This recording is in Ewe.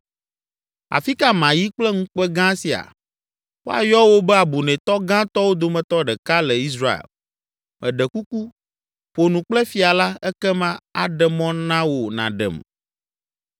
Afi ka mayi kple ŋukpe gã sia? Woayɔ wò be abunɛtɔ gãtɔwo dometɔ ɖeka le Israel! Meɖe kuku, ƒo nu kple fia la, ekema aɖe mɔ na wò nàɖem.”